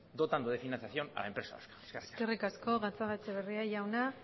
dotando de financiación a empresas vascas eskerrik asko gatzagaetxebarria jauna